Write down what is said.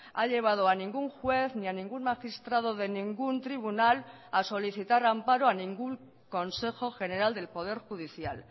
ha llevado a ningún juez ni a ningún magistrado de ningún tribunal a solicitar amparo a ningún consejo general del poder judicial